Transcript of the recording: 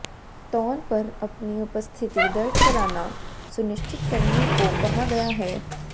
तौर पर अपनी उपस्थिति दर्ज कराना सुनिश्चित करने को कहा गया है